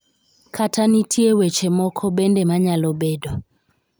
kata nitie weche moko bende manyalo bedo